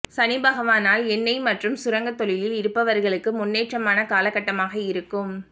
சனிபகவானால் எண்ணெய் மற்றும் சுரங்க தொழிலில் இருப்பவர்களுக்கு முன்னேற்றமான காலகட்டமாக இருக்கும்